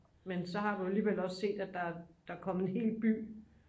men så har du alligevel også set at der er kommet en ny by